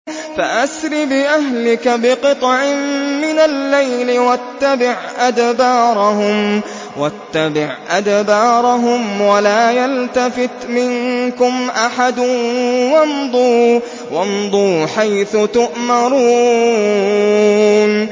فَأَسْرِ بِأَهْلِكَ بِقِطْعٍ مِّنَ اللَّيْلِ وَاتَّبِعْ أَدْبَارَهُمْ وَلَا يَلْتَفِتْ مِنكُمْ أَحَدٌ وَامْضُوا حَيْثُ تُؤْمَرُونَ